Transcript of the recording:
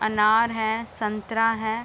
अनार हैं संतरा हैं।